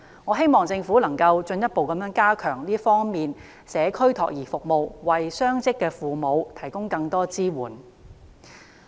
我希望政府能夠進一步加強社區託兒服務，為雙職父母提供更多支援。